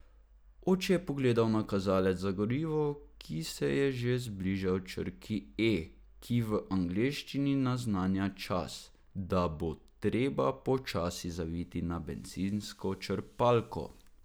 Oče je pogledal na kazalec za gorivo, ki se je že bližal črki E, ki v angleščini naznanja čas, da bo treba počasi zaviti na bencinsko črpalko.